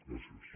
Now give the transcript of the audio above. gràcies